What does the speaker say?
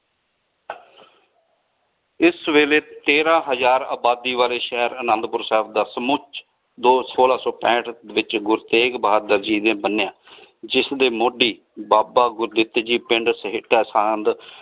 ਇਸ ਵੇਲੇ ਤੇਰਾ ਹਜ਼ਾਰ ਆਬਾਦੀ ਵਾਲੀ ਸ਼ੇਹਰ ਅਨੰਦੁਪੁਰ ਸਾਹਿਬ ਦਾ ਸੁਮੁਚ ਦੋ ਸੋਲਾ ਸੋ ਪੈਂਠ ਵਿਚ ਗੁਰੂ ਤੇਗ ਬਹਾਦੁਰ ਜੀ ਨੇ ਬੰਨਿਆ ਜਿਸ ਦੇ ਮੋਢੀ ਬਾਬਾ ਗੁਦਿੱਤ ਜੀ ਪਿੰਡ ਸਹੇਟਾ ਸਾਂਧ।